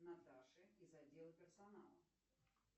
наташе из отдела персонала